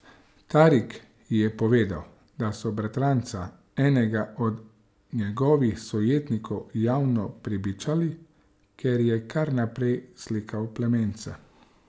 Tarik ji je povedal, da so bratranca enega od njegovih sojetnikov javno prebičali, ker je kar naprej slikal plamence.